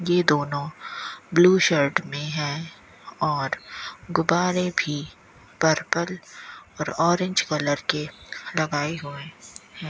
ये दोनों blue shirt में है और गुब्बारे भी पर्पल और ऑरेंज कलर के लगाई हुए हैं।